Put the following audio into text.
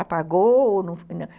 Apagou ou não?